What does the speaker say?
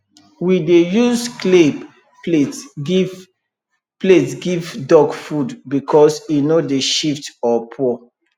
we dey use clay plate give plate give duck food because e no dey shift or pour